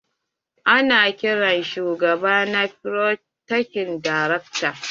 Ana kiran shugaba na folytekni da rector.